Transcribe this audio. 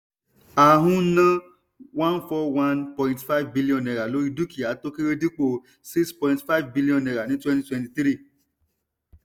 a ń ná one four one billion naira lórí dukia tó kéré dipo six point five billion naira ní twenty twenty three.